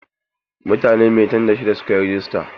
Mutane maitan da shida suka yi rajista.